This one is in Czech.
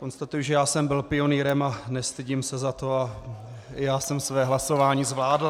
Konstatuji, že já jsem byl pionýrem a nestydím se za to, i já jsem své hlasování zvládl.